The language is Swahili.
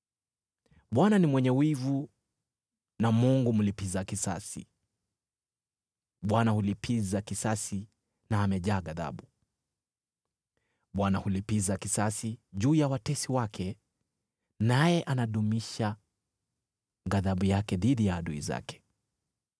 Bwana ni mwenye wivu na Mungu mlipiza kisasi; Bwana hulipiza kisasi na amejaa ghadhabu. Bwana hulipiza kisasi juu ya watesi wake, naye anadumisha ghadhabu yake dhidi ya adui zake.